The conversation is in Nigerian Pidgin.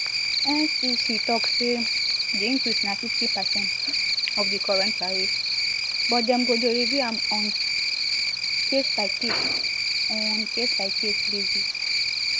ncc tok say di increase na fifty percent of di current tariffs but dem go dey review am on casebycase on casebycase basis